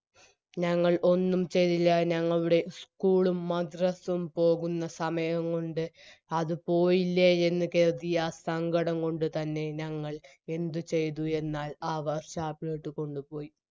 ഞങ്ങൾ ഒന്നും ചെയ്തില്ല ഞങ്ങളുടെ school ഉം മദ്‌റസ്സും പോകുന്ന സമയം കൊണ്ട് അത് പോയില്ലേ എന്ന് കെര്തി ആ സങ്കടം കൊണ്ട് തന്നെ ഞങ്ങൾ എന്ത് ചെയ്തു എന്നാൽ ആ work shop ലോട്ട് കൊണ്ടുപോയി